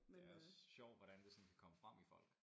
Det også sjovt hvordan det sådan kan komme frem i folk